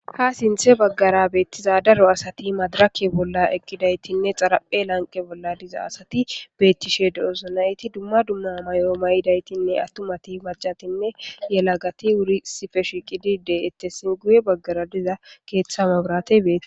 Ha sinthe baggara beettiza daro asati madirakke bolla eqqidaytinne xaraphe lanqe bolla diza asati beettishe doosso nayti dumma dumma mayoo mayidaytinne attumati macatinne yela gati wuri sife shiiqidide ettessin guye baggara diza keeththa mabratey beeti